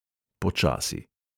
Počasi.